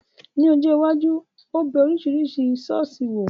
Ní ọjọ́ iwájú, ó bẹ Oríṣiríṣi ṣọ̀ọ́sì wò.